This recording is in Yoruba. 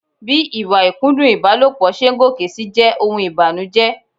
Bí ìwà ìkúndùn ìbálòpọ̀ ṣe ń gòkè si jẹ́ ohun ìbànújẹ.